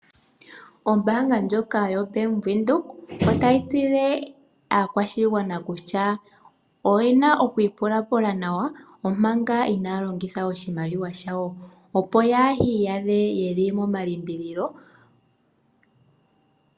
Ombaanga ndjoka yo Bank Widhoek otayi tseyithile aakwashigwana kutya, oyena oku ipulapula nawa omanga inaya longitha oshimaliwa shawo opo yaaha iyadhe yeli momalimbililo.